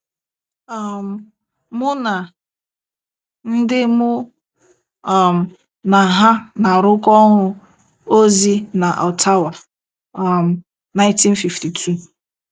um Mụ na ndị mụ um na ha na-arụkọ ọrụ ozi na Ottawa, um 1952.